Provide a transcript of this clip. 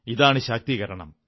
ഇതാണ് ശാക്തീകരണം